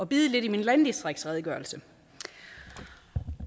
bide lidt i min landdistriktsredegørelse